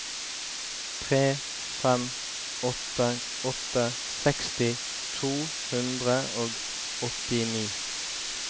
tre fem åtte åtte seksti to hundre og åttini